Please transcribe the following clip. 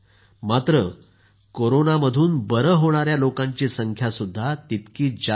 मात्र कोरोनामधून बरे होणाऱ्या लोकांची संख्या देखील तितकीच जास्त आहे